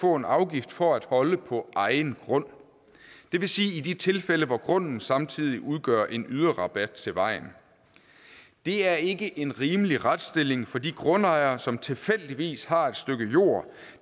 få en afgift for at holde på egen grund i de tilfælde hvor grunden samtidig udgør en yderrabat til vejen det er ikke en rimelig retsstilling for de grundejere som tilfældigvis har et stykke jord